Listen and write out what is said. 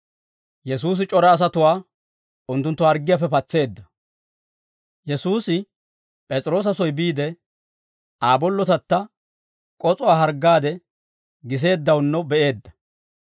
Yesuusi P'es'iroosa soy biide, Aa bollotatta k'os'uwaa harggaade giseeddawunno be'eedda.